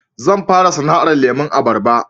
Zan fara sana'ar lemon abarba